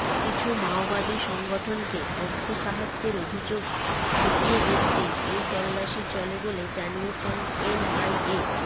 কিছু মাওবাদী সংগঠনকে অর্থ সাহায্যের অভিযোগ খতিয়ে দেখতেই এই তল্লাশি চলে বলে জানিয়েছে এনআইএ